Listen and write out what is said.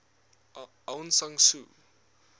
aung san suu